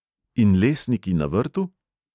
In lesniki na vrtu?